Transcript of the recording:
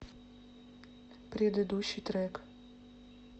предыдущий трек